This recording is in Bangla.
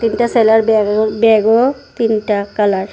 একটা ছেলের ব্যাগও ব্যাগও তিনটা কালার ।